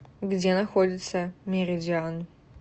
где находится меридиан